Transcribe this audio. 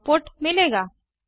output मिलेगा